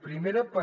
primera per